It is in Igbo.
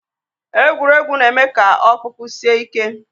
Egwuregwu na-eme ka ọkpụkpụ sie ike